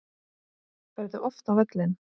Ferðu oft á völlinn?